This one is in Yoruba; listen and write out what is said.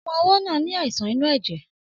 Ọmọ ọwó náà ní àìsàn inú èjè